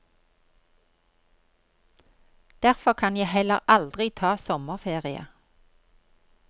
Derfor kan jeg heller aldri ta sommerferie.